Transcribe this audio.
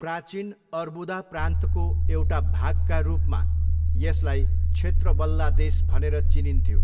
प्राचीन अर्बुदा प्रान्तको एउटा भागका रूपमा, यसलाई क्षेत्र बल्ला देश भनेर चिनिन्थ्यो।